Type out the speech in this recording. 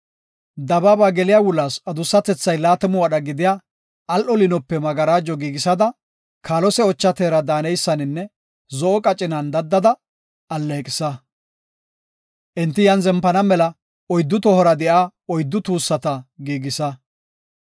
“Dabaaba geliya wulaas adussatethay laatamu wadha gidiya, al7o liinope magarajo giigisada, kaalose, ocha teera daaneysaninne zo7o qacinan daddada alleeqisa. Enti iyan zempana mela oyddu tohora de7iya oyddu tuussata giigisa.